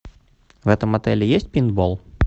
в этом отеле есть пейнтбол